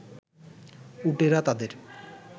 উটেরা তাদের